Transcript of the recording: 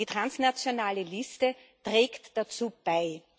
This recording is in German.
die transnationale Liste der trägt dazu bei.